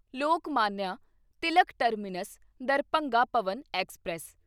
Lokmanya Tilak terminus Darbhanga Pawan express